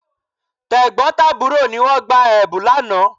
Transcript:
Tẹ̀gbọ́n tàbúrò ni wọ́n gba Ẹ̀bùn lánàá